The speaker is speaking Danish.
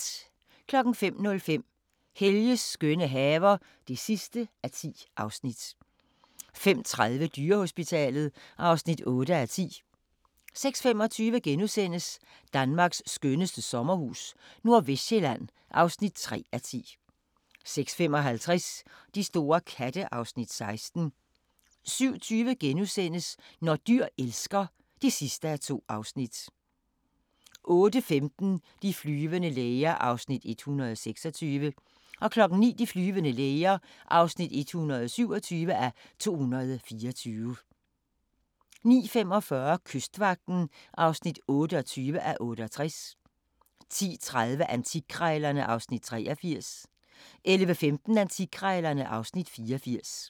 05:05: Helges skønne haver (10:10) 05:30: Dyrehospitalet (8:10) 06:25: Danmarks skønneste sommerhus - Nordvestsjælland (3:10)* 06:55: De store katte (Afs. 16) 07:20: Når dyr elsker (2:2)* 08:15: De flyvende læger (126:224) 09:00: De flyvende læger (127:224) 09:45: Kystvagten (28:68) 10:30: Antikkrejlerne (Afs. 83) 11:15: Antikkrejlerne (Afs. 84)